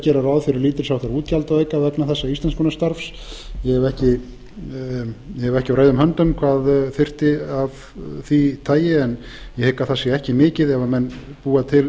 gera ráð fyrir lítilsháttar útgjaldaauka vegna þessa íslenskunarstarfs ég hef ekki á reiðum höndum hvað þyrfti að því tagi en ég hygg að það sé ekki mikið ef menn búa til